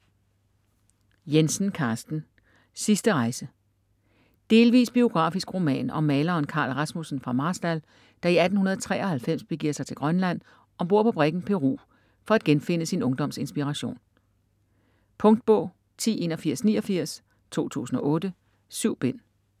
Jensen, Carsten: Sidste rejse Delvis biografisk roman om maleren Carl Rasmussen fra Marstal, der i 1893 begiver sig til Grønland om bord på briggen Peru for at genfinde sin ungdoms inspiration. Punktbog 108189 2008. 7 bind.